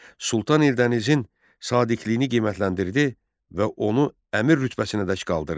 Sultan Eldənizin sadiqliyini qiymətləndirdi və onu əmir rütbəsinədək qaldırdı.